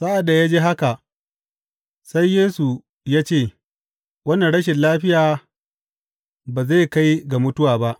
Sa’ad da ya ji haka, sai Yesu ya ce, Wannan rashin lafiya ba zai kai ga mutuwa ba.